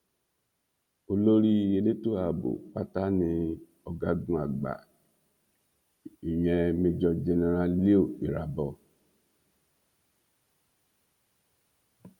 olórí elétò ààbò pátá ni ọgágun àgbà ìyen major general leo irabor